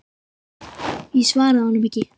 Ég svaraði honum ekki.